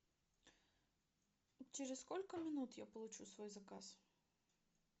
через сколько минут я получу свой заказ